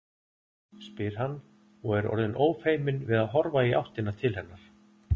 spyr hann og er orðinn ófeiminn við að horfa í áttina til hennar.